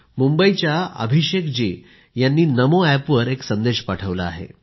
मुंबईच्या अभिषेक जी यांनी नमोएप वर एक संदेश पाठवला आहे